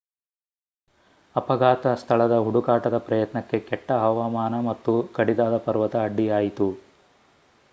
ಅಪಘಾತ ಸ್ಥಳದ ಹುಡುಕಾಟದ ಪ್ರಯತ್ನಕ್ಕೆ ಕೆಟ್ಟ ಹವಾಮಾನ ಮತ್ತು ಕಡಿದಾದ ಪರ್ವತ ಅಡ್ಡಿಯಾಯಿತು